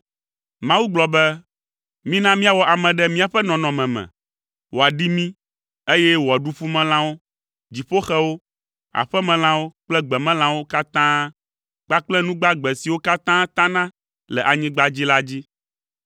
Mawu gblɔ be, “Mina míawɔ ame ɖe míaƒe nɔnɔme me, wòaɖi mí, eye wòaɖu ƒumelãwo, dziƒoxewo, aƒemelãwo kple gbemelãwo katã kpakple nu gbagbe siwo katã tana le anyigba dzi la dzi.”